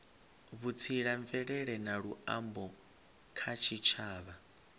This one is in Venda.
vhutsila mvelele na luambo kha tshitshavha